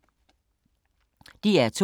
DR2